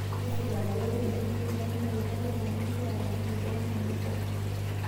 tisipa ajo ore enkitushulakinoto ai naakegira aigil o kewon enye